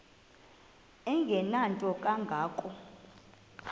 engenanto kanga ko